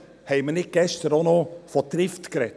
Haben wir gestern nicht auch noch über Trift gesprochen?